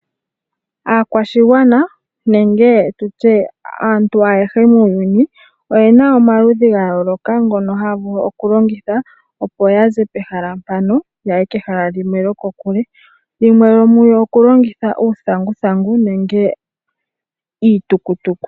Aakwashigwana nenge tutye aantu ayehe muuyuni oyena omaludhi gayooloka ngono haya vulu okulongitha opo yaze pehala mpano yaye kehala limwe lyokokule. Yimwe yomu yo okulongitha uuthanguthangu nenge iitukutuku.